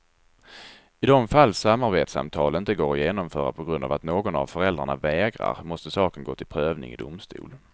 I de fall samarbetssamtal inte går att genomföra på grund av att någon av föräldrarna vägrar måste saken gå till prövning i domstol.